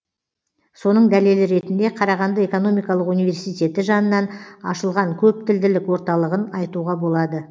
соның дәлелі ретінде қарағанды экономикалық университеті жанынан ашылған көптілділік орталығын айтуға болады